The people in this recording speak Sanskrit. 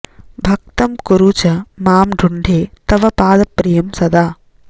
भक्तं कुरु च मां ढुंढे तव पादप्रियं सदा